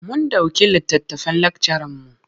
Mun ɗauki littattafan lakcaranmu.